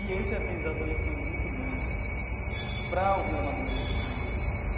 E esse aprendizado também foi muito bom para o meu amadurecimento.